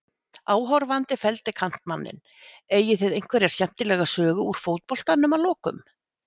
Áhorfandi felldi kantmanninn Eigið þið einhverja skemmtilega sögu úr fótboltanum að lokum?